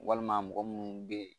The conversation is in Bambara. Walima mɔgɔ munnu be yen